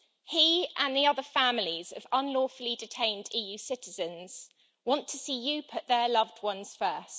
He and the other families of unlawfully detained EU citizens want to see you put their loved ones first.